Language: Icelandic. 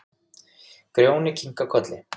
Grjóni kinkar kolli.